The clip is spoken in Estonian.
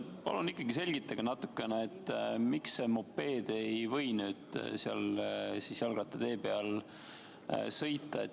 Palun selgitage natukene, miks mopeed ei või jalgrattatee peal sõita.